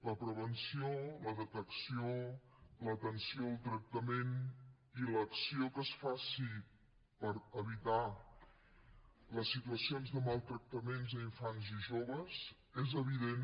la prevenció la detecció l’atenció el tractament i l’acció que es facin per evitar les situacions de maltractaments a infants i joves és evident